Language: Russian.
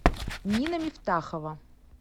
нина мифтахова